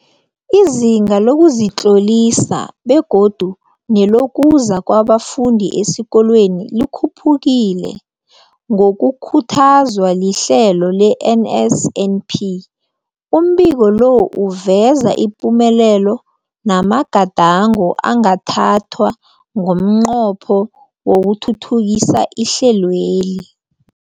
Izinga lokuzitlolisa begodu nelokuza kwabafundi esikolweni likhuphukile ngokukhuthazwa lihlelo le-NSNP. Umbiko lo uveza ipumelelo namagadango angathathwa ngomnqopho wokuthuthukisa ihlelweli.